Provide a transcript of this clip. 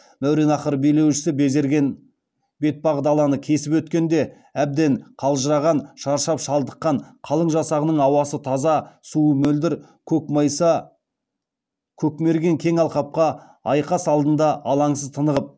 мәуереннаһр билеушісі безерген бетпақдаланы кесіп өткенде әбден қалжыраған шаршап шалдыққан қалың жасағының ауасы таза суы мөлдір көкмайса көмкерген кең алқапта айқас алдында алаңсыз тынығып